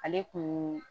Ale kun